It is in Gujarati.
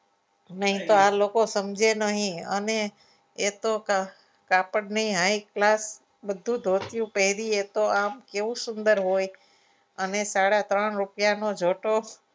નહીં તો આ લોકો સમજે નહીં અને એ તો કાપડની high class બધું ધોતિયું પહેરી એ તો આમ તેવું સુંદર હોય અને સાડા ત્રણ રૂપિયાનો જોતો.